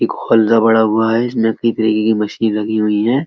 एक बड़ा हुआ है। मशीन लगी हुई है।